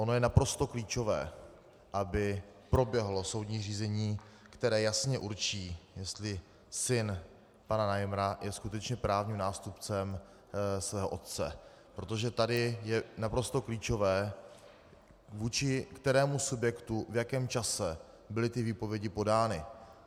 Ono je naprosto klíčové, aby proběhlo soudní řízení, které jasně určí, jestli syn pana Najmra je skutečně právním nástupcem svého otce, protože tady je naprosto klíčové, vůči kterému subjektu v jakém čase byly ty výpovědi podány.